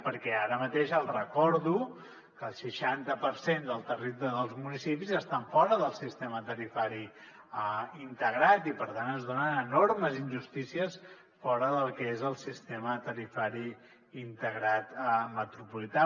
perquè ara mateix els recordo que el seixanta per cent dels municipis estan fora del sistema tarifari integrat i per tant es donen enormes injustícies fora del que és el sistema tarifari integrat metropolità